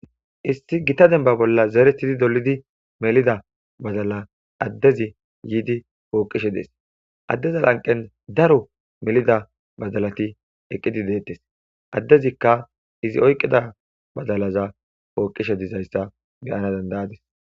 Issi gitta denba bolla zeretidi dolidi melida badalaza adezi yiddi poqeshe des adeza lanqen daro melida badalati eqidi de'etes adezikka izi oyiqida badalaza poqishshe dizayissa beyanassi dandaydis